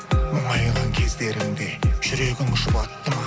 мұңайған кездеріңде жүрегің жұбатты ма